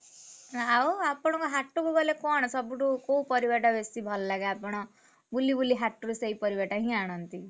ଆଉ ଆପଣଙ୍କ ହାଟୁକୁ ଗଲେ କଣ ସବୁଠୁ କୋଉ ପରିବାଟା ବେଶୀ ଭଲ ଲାଗେ ଆପଣ, ବୁଲି ବୁଲି ହାଟୁରୁ ସେଇପରିବାଟା ହିଁ ଆଣନ୍ତି?